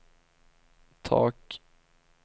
tak